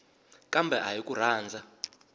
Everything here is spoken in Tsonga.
kambe a hi ku rhandza